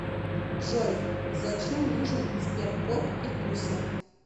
джой зачем нужен сберкот и куся